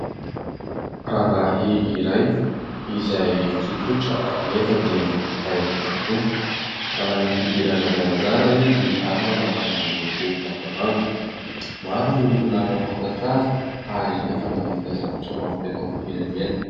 Rangahy iray izay tsotsotra nefa dia manam-pahaizana tokoa ; manana fihodirana zarazara izy ary manao akanjo miloko mangamanga. Maro ny olona mahafantatra azy ary efa nahavita zavatra maro teto amin'ny firenena.